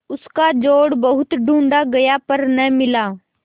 उसका जोड़ बहुत ढूँढ़ा गया पर न मिला